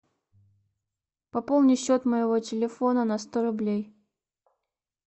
пополни счет моего телефона на сто рублей